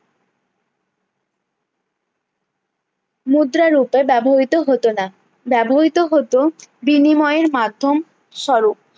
মুদ্রা রূপে ব্যবহৃত হত না ব্যবহৃত হত বিনিময়ের মাধ্যম স্বরূপ